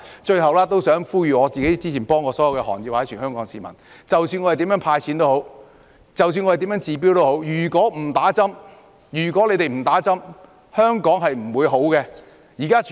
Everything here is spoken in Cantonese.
最後，我想呼籲之前我曾協助的行業及全港市民，不論政府如何"派錢"、不管如何治標，如果不接種疫苗，香港是不會變好的。